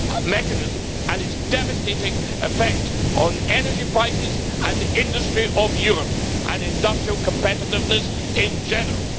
mechanism and its devastating effects on energy prices, the industry of Europe and industrial competitiveness in general.